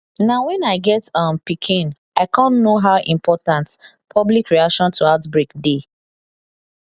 na when i get um pikin i cum know how important public reaction to outbreak dey